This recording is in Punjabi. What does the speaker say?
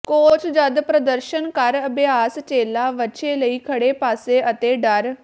ਕੋਚ ਜਦ ਪ੍ਰਦਰਸ਼ਨ ਕਰ ਅਭਿਆਸ ਚੇਲਾ ਵੱਛੇ ਲਈ ਖੜ੍ਹੇ ਪਾਸੇ ਅਤੇ ਡਰ